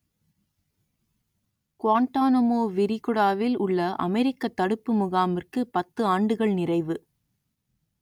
Guantanamo விரிகுடாவில் உள்ள அமெரிக்கத் தடுப்பு முகாமிற்கு பத்து ஆண்டுகள் நிறைவு